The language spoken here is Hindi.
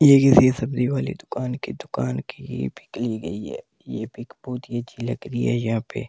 ये किसी सब्जी वाली दुकान की दुकान की ही पीक गई है ये पिक बहुत ही अच्छी लग रही है यहां पे--